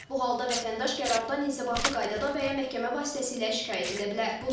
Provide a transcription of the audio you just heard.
Bu halda vətəndaş qərardan inzibati qaydada və ya məhkəmə vasitəsilə şikayət edə bilər.